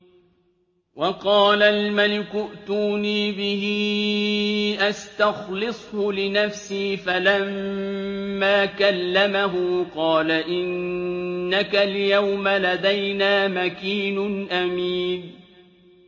وَقَالَ الْمَلِكُ ائْتُونِي بِهِ أَسْتَخْلِصْهُ لِنَفْسِي ۖ فَلَمَّا كَلَّمَهُ قَالَ إِنَّكَ الْيَوْمَ لَدَيْنَا مَكِينٌ أَمِينٌ